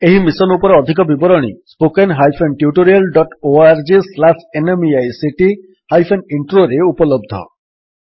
ଏହି ମିଶନ୍ ଉପରେ ଅଧିକ ବିବରଣୀ spoken hyphen tutorial dot O R G slash NMEICT hyphen Introରେ spoken tutorialorgnmeict ଇଣ୍ଟ୍ରୋ ଉପଲବ୍ଧ